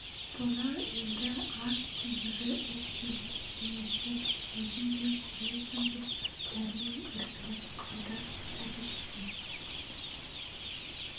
бұны енді аз күндегі іс пен мінезден өзің де көрерсің деп дәрмен іркіліп қалды әбіш те